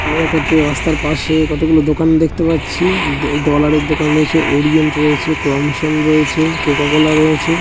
আমরা কত রাস্তার পাশে কতগুলো দোকান দেখতে পাচ্ছি-ই . ডলার -এর দোকান রয়েছে ওরিয়েন্ট রয়েছে ক্রমশন রয়েছে কোকাকোলা রয়েছে।